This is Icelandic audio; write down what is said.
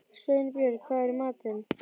Sveinbjörg, hvað er í matinn?